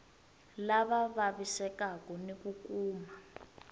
lava vavisekaku ni ku kuma